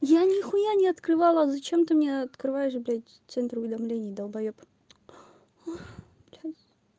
я нехуя не открывала зачем ты мне открываешь блядь центр уведомлений долбаёб сейчас